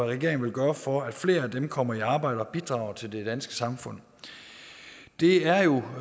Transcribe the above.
regeringen vil gøre for at flere af dem kommer i arbejde og bidrager til det danske samfund det er jo